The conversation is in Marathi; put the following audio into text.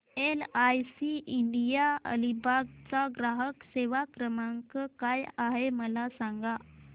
एलआयसी इंडिया अलिबाग चा ग्राहक सेवा क्रमांक काय आहे मला सांगा